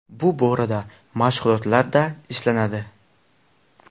Bu borada mashg‘ulotlarda ishlanadi.